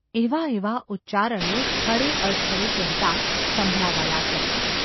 ’ એવાં એવાં ઉચ્ચારણો સ્થળે અસ્થળે કહેતા સંભળાવા લાગ્યા.